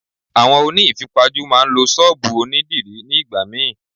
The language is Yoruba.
Àwọn oní ìfipajú máa ń lo Ṣọ́bùù òní dìrí ní ìgbà míì.